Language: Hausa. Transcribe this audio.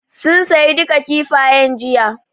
Sun saye duka Kifayen jiya